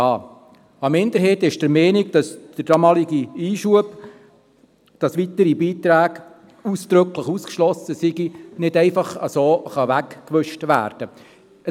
Eine Minderheit ist der Meinung, dass der damalige Einschub, wonach weitere Beiträge ausdrücklich ausgeschlossen sind, nicht einfach so weggewischt werden kann.